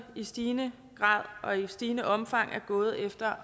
i stigende grad og i stigende omfang er gået efter